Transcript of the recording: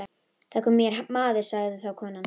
Það kom hér maður, sagði þá konan.